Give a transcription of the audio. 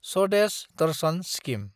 Swadesh Darshan scheme